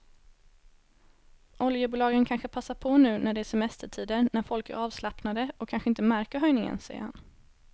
Oljebolagen kanske passar på nu när det är semestertider när folk är avslappnade och kanske inte märker höjningen, säger han.